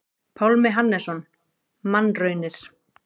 Pálmi Hannesson: Mannraunir.